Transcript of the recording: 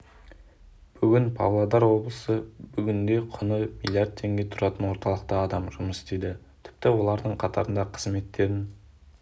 бүгін павлодар облысы бүгінде құны миллиард теңге тұратын орталықта адам жұмыс істейді тіпті олардың қатарында қызметтерін